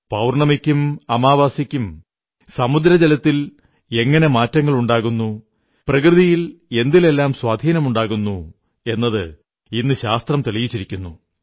പൌർണ്ണമിക്കും അമാവാസിക്കും സമുദ്ര ജലത്തിൽ എങ്ങനെ മാറ്റങ്ങളുണ്ടാകുന്നു പ്രകൃതിയിൽ എന്തിലെല്ലാം സ്വാധീനമുണ്ടാകുന്നു എന്നത് ഇന്ന് ശാസ്ത്രം തെളിയിച്ചിരിക്കുന്നു